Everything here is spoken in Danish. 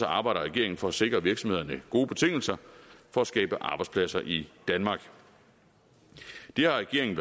arbejder regeringen for at sikre virksomhederne gode betingelser for at skabe arbejdspladser i danmark det har regeringen